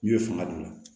N'u ye fanga d'u ma